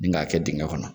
Ni k'a kɛ dingɛ kɔnɔ